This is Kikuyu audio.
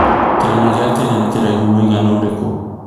kĩrima kenya nĩ kĩraihu mũigana ũrikũ